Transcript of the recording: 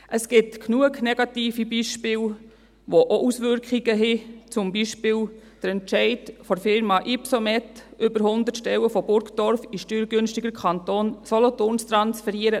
Es gibt genügend negative Beispiele, die auch Auswirkungen haben, zum Beispiel der Entscheid der Firma Ypsomed, über hundert Stellen von Burgdorf in den steuergünstigeren Kanton Solothurn zu transferieren.